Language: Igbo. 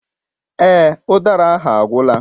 Èè, udara ndị ahụ agwụla.